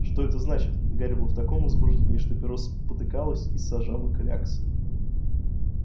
что это значит гарри был в таком возбуждении что перо спотыкалось и сажало кляксы